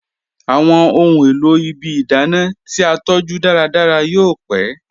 Awọn ọ̀hun èlò ìbí ìdánà ti a tọju dàràdàrà yóò pẹ̀.